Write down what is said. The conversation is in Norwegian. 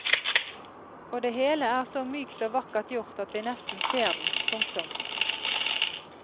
Og det hele er så mykt og vakkert gjort at vi nesten ser den. punktum